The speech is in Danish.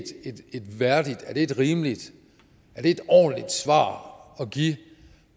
et værdigt et rimeligt et ordentligt svar at give